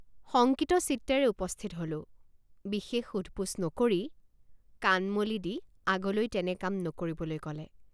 শংকিত চিত্তেৰে উপস্থিত হলোঁবিশেষ সোধপোছ নকৰি কাণ মলি দি আগলৈ তেনে কাম নকৰিবলৈ কলে।